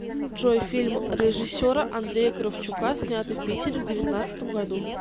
джой фильм режиссера андрея кравчука снятый в питере в девятнацдатом году